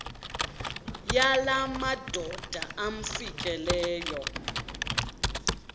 yala madoda amfikeleyo